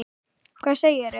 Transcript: Hvað segirðu?